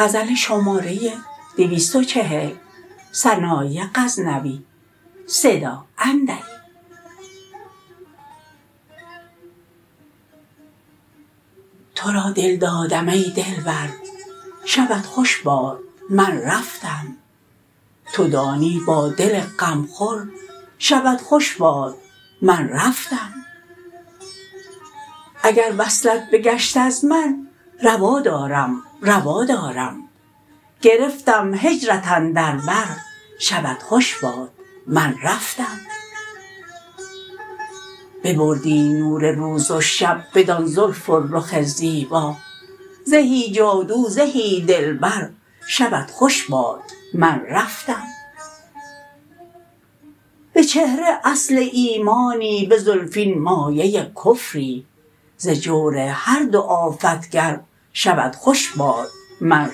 تو را دل دادم ای دلبر شبت خوش باد من رفتم تو دانی با دل غم خور شبت خوش باد من رفتم اگر وصلت بگشت از من روا دارم روا دارم گرفتم هجرت اندر بر شبت خوش باد من رفتم ببردی نور روز و شب بدان زلف و رخ زیبا زهی جادو زهی دلبر شبت خوش باد من رفتم به چهره اصل ایمانی به زلفین مایه کفری ز جور هر دو آفت گر شبت خوش باد من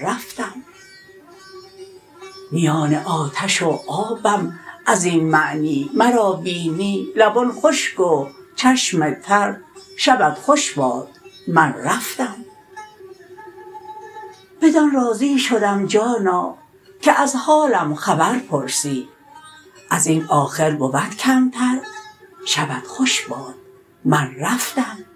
رفتم میان آتش و آبم ازین معنی مرا بینی لبان خشک و چشم تر شبت خوش باد من رفتم بدان راضی شدم جانا که از حالم خبر پرسی ازین آخر بود کمتر شبت خوش باد من رفتم